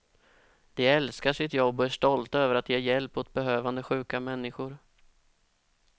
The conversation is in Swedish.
De älskar sitt jobb och är stolta över att ge hjälp åt behövande sjuka människor.